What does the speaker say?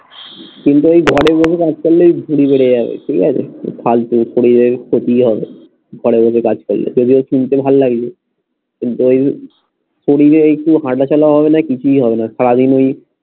কিন্তু এই ঘরে বসে কাজ করলে ভুঁড়ি বেড়ে যাবে, ঠিক আছে ফালতু শরীরের ক্ষতি হবে। ঘরে বসে কাজ করলে এটা যে শুনতে ভাল্লাগছে কিন্তু ওই শরীরের একটুও হাঁটাচলা হবে না কিছুই হবেনা সারাদিন ওই